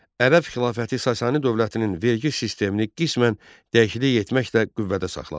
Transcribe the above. Ərəb xilafəti Sasani dövlətinin vergi sistemini qismən dəyişiklik etməklə qüvvədə saxladı.